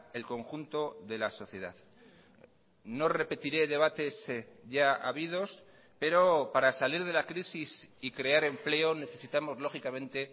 el conjunto de la sociedad no repetiré debates ya habidos pero para salir de la crisis y crear empleo necesitamos lógicamente